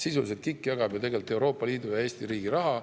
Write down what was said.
Sisuliselt jagab KIK ju Euroopa Liidu ja Eesti riigi raha.